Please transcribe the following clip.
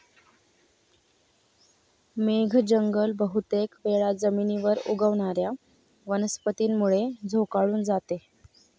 मेघ जंगल बहुतेक वेळा जमीनीवर उगवणाऱ्या वनस्पतींमुळे झोकाळून जाते.